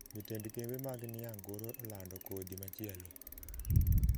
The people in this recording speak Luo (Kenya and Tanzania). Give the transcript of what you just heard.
jotend kembe mag niang` koro olando kodhi machielo